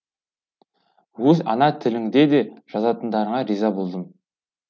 өз ана тіліңде де жазатындарыңа риза болдым